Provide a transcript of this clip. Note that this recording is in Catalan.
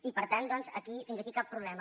i per tant doncs fins aquí cap problema